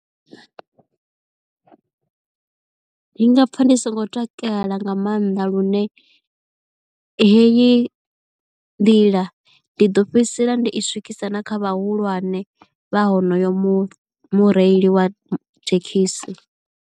Ndi nga pfha ndi songo takala nga maanḓa lune heyi ndila ndi ḓo fhedzisela ndo i swikisa na kha vhahulwane vha honoyo mu mureili wa thekhisi.